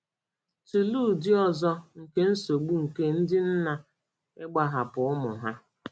Tụlee ụdị ọzọ nke nsogbu nke ndị nna ịgbahapụ ụmụ ha.